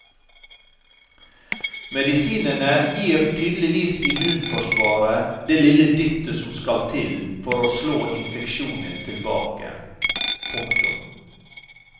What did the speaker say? Medisinene gir tydeligvis immunforsvaret det lille dyttet som skal til for å slå infeksjonen tilbake. punktum